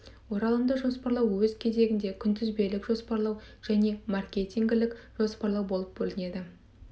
оралымды жоспарлау өз кезегінде күнтізбелік жоспарлау және маркетингілік жоспарлау болып бөлінеді